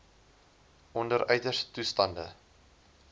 onder uiterste toestande